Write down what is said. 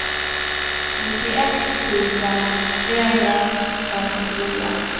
nittioett tusen trehundrafemtiofyra